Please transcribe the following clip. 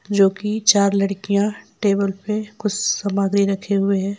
जो की चार लड़कियां टेबल पे कुछ सामग्री रखे हुए है।